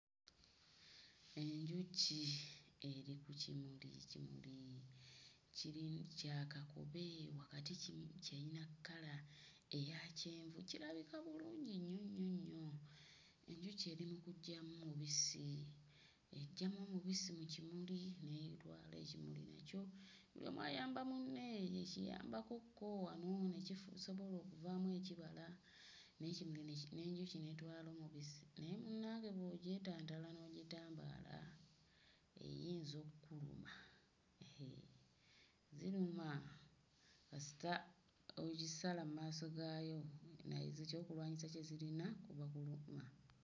Enjuki eri ku kimuli. Ekimuli kirimu kya kakobe wakati kirina kkala eya kyenvu kirabika bulungi nnyo nnyo nnyo. Enjuki eri mu kuggyamu omubisi, eggyamu omubisi mu kimuli n'etwala ekimuli nakyo buli omu ayamba munne ekiyambakokko wano ne kisobola okuvaamu ekibala n'enjuki n'etwala omubisi. Naye munnange bw'ogyetantala n'ogitambaala eyinza okkuluma, heee ziruma kasita ozisala mmaaso gaayo eky'okulwanyisa kyayo kuba kuluma.